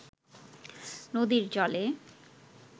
নদীর জলে